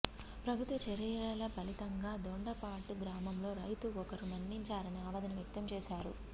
ప్రభుత్వ చర్యల ఫలితంగా దొండపాడు గ్రామంలో రైతు ఒకరు మరణించారని ఆవేదన వ్యక్తం చేశారు